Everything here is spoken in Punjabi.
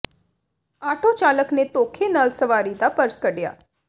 ਆਟੋ ਚਾਲਕ ਨੇ ਧੋਖੇ ਨਾਲ ਸਵਾਰੀ ਦਾ ਪਰਸ ਕੱਢਿਆ